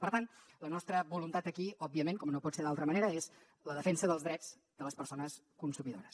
per tant la nostra voluntat aquí òbviament com no pot ser d’altra manera és la defensa dels drets de les persones consumidores